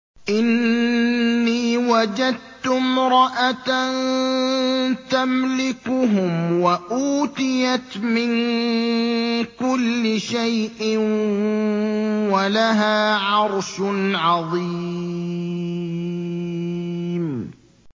إِنِّي وَجَدتُّ امْرَأَةً تَمْلِكُهُمْ وَأُوتِيَتْ مِن كُلِّ شَيْءٍ وَلَهَا عَرْشٌ عَظِيمٌ